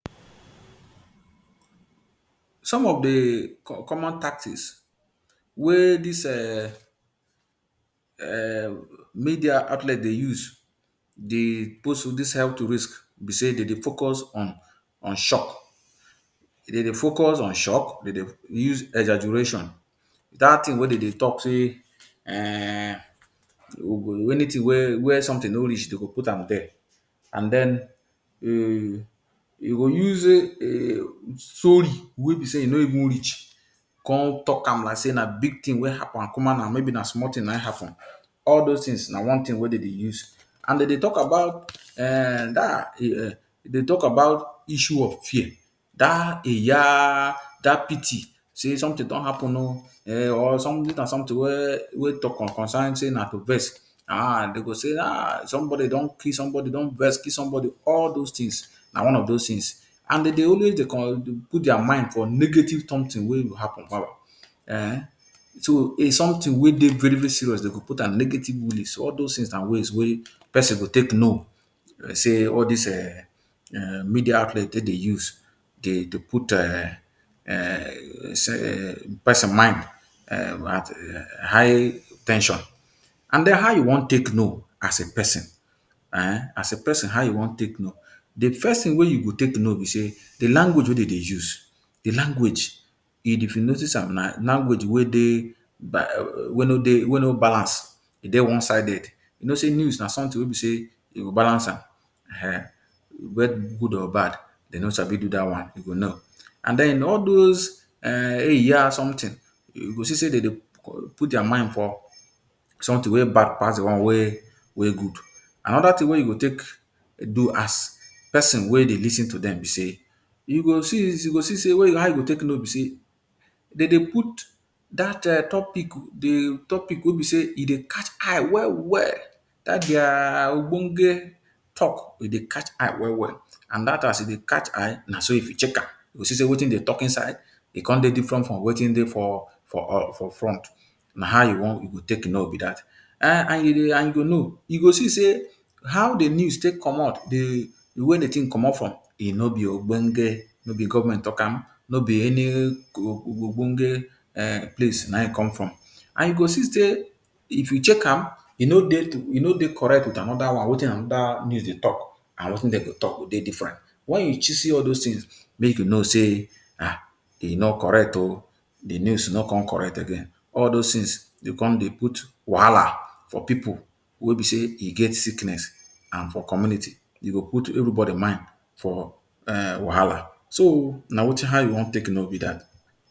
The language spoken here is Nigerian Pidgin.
Some of de common tactics wey dis um media outlet dey use dey post dis health risk be sey de dey focus on on shock. De dey focus on shock, de dey use exaggeration - dat thing wey de dey talk sey um anything wey wey something no reach dem go put am there. And den, um you go use um story wey be sey e no even reach come talk am like sey na big thing wey happen, and na small thing naim happen. All those things na one thing wey dem dey use. And dem dey talk about um um dey talk about issue of fear. Dat ‘eh yah’, dat pity, sey ‘something don happen o!’[um] Or dis na something wey wey talk concern sey na to vex. um Dem go sey ‘um Somebody don kill somebody don vex kill somebody’. All those things na one of those things And dem dey always dey put dia mind for negative something wey go happen um. So, if something wey dey very-very serious dem go put am negative. All those things na ways wey pesin go take know sey all dis um media outlet take dey use dey dey put um pesin mind um at um high ten sion And den, how you wan take know as a pesin? um As a pesin how you wan take know? De first thing wey you go take know be sey, de language wey dem dey use. De language if you notice am na language wey dey um wey no dey wey no balance, e dey one-sided. You know sey news na something wey e be sey you go balance am. Ehen! good or bad, dem no sabi do dat one you go know. And den, all dose um ‘eh yah’ something, you go see sey dem dey put dia mind for something wey bad pass de one wey wey good. Another thing wey you go take do as pesin wey dey lis ten to dem be sey, you go see you go see sey how go take know be sey, de dey put dat um topic de topic wey be sey e dey catch eye well-well, dat dia ogbonge talk, e dey catch eye well-well. And dat as e dey catch eye, na so if you check am, you go see sey wetin dem talk inside, e come dey different from wetin dey for for um for front. Na how you wan e go take know be that. um And you and you dey know, you go see sey how de news take comot, de way de thing comot from, e no be ogbonge, no be government talk am. No be any um ogbonge, um place naim come from. And you go see sey if you check am, e no dey e no dey correct wit another one wetin another news dey talk, and wetin dem go talk dey different. Wen you see all those things, make you know sey, um E no correct o! De news no come correct again. All those things dey come dey put wahala for pipu wey be sey e get sickness and for community. You go put everybody mind for um wahala So, na how you wan take know be dat.